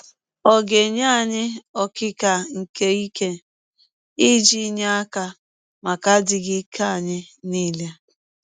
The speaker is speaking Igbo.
Ọ ga - enye anyị “ ọkịka nke ike ” iji nye aka maka adịghị ike anyị nile.